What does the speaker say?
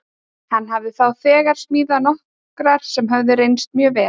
Hann hafði þá þegar smíðað nokkrar sem höfðu reynst mjög vel.